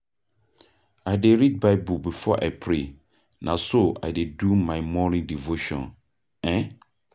I dey read Bible before I pray, na so I dey do my morning devotion. um